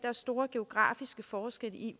er store geografiske forskelle i